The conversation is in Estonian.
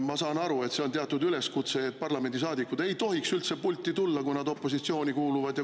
Ma saan aru, et teatud üleskutse on selline, et parlamendisaadikud ei tohiks üldse pulti tulla, kui nad opositsiooni kuuluvad.